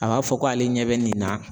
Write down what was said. A b'a fɔ ko ale ɲɛ bɛ nin na